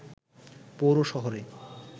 পৌর শহরে